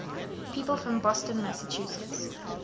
people from boston massachusetts